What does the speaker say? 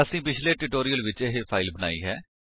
ਅਸੀਂ ਪਿਛਲੇ ਟਿਊਟੋਰਿਅਲ ਵਿੱਚ ਇਹ ਫਾਇਲ ਬਣਾਈ ਹੈ